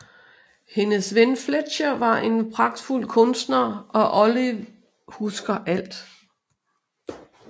Hendes ven Fletcher er en pragtfuld kunstner og Olive husker alt